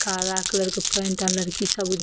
काला कलर के पेंट के अंदर की सब --